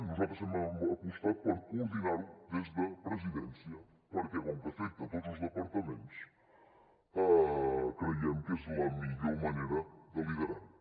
nosaltres hem apostat per coordinar ho des de presidència perquè com que afecta tots els departaments creiem que és la millor manera de liderar ho